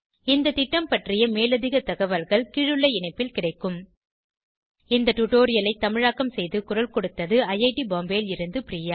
இந்த திட்டம் பற்றிய மேலதிக தகவல்கள் கீழுள்ள இணைப்பில் கிடைக்கும் httpspoken tutorialorgNMEICT Intro இந்த டுடோரியலை தமிழாக்கம் செய்து குரல் கொடுத்தது ஐஐடி பாம்பேவில் இருந்து பிரியா